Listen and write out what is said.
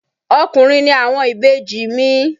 Ọkùnrin ni àwọn ìbejì mi.